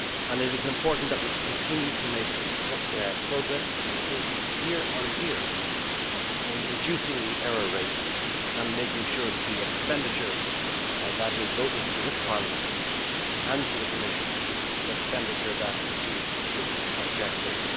It is important that we continue to make progress and improvements year on year in reducing the error rate and making sure that the expenditure that is voted through this Parliament and to the Commission is expenditure that achieves its objectives.